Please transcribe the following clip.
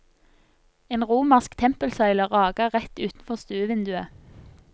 En romersk tempelsøyle rager rett utenfor stuevinduet.